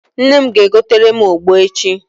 Nne m ga- egotere m ogbo echi.